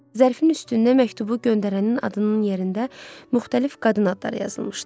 Zərfin üstündə məktubu göndərənin adının yerində müxtəlif qadın adları yazılmışdı.